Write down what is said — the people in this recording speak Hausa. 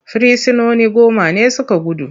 Firsinoni goma ne su ka gudu.